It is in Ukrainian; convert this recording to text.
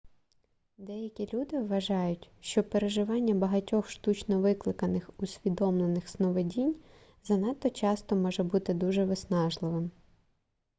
деякі люди вважають що переживання багатьох штучно викликаних усвідомлених сновидінь занадто часто може бути дуже виснажливим